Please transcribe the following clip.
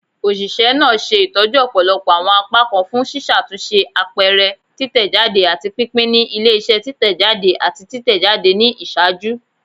Oṣiṣẹ naa ṣe itọju ọpọlọpọ awọn apakan fun ṣiṣatunṣe, apẹrẹ, titẹjade, ati pinpin ni ile-iṣẹ titẹjade ati titẹjade ni iṣaaju.